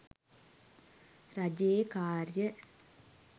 රජයේ කාර්ය